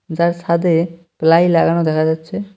যার ছাদে প্লাই লাগানো দেখা যাচ্ছে।